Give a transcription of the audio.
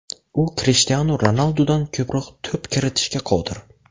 U Krishtianu Ronaldudan ko‘proq to‘p kiritishga qodir.